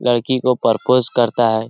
लड़की को प्रोपोज़ करता है।